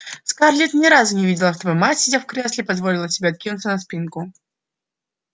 скарлетт ни разу не видела чтобы мать сидя в кресле позволила себе откинуться на спинку